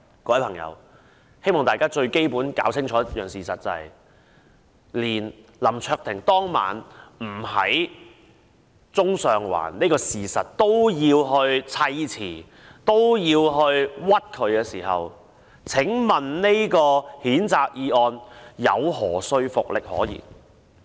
我希望大家明白，當林卓廷議員當晚不在中上環是事實，建制派也要砌詞誣衊他，這項譴責議案還有何說服力可言？